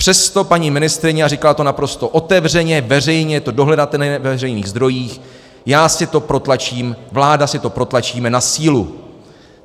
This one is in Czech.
Přesto paní ministryně, a říkala to naprosto otevřeně, veřejně, je to dohledatelné ve veřejných zdrojích, já si to protlačím, vláda si to protlačí na sílu.